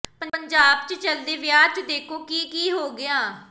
ਪੰਜਾਬ ਚ ਚਲਦੇ ਵਿਆਹ ਚ ਦੇਖੋ ਕੀ ਕੀ ਹੋ ਗਿਆ